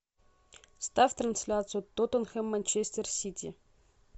ставь трансляцию тоттенхэм манчестер сити